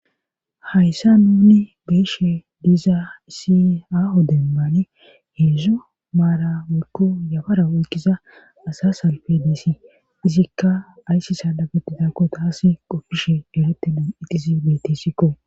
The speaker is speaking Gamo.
hayssa nuni geeshe diza si aaho dembane heedzo maara wolko yafara woykkiza asa salpe deesi izikka ayssi saalabetidakko taasi qopfishe delette dun ixizi betisikko